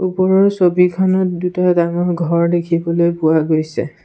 ওপৰৰ ছবিখনত দুটা ডাঙৰ ঘৰ দেখিবলৈ পোৱা গৈছে।